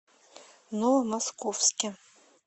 новомосковске